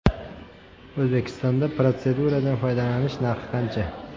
O‘zbekistonda protseduradan foydalanish narxlari qancha?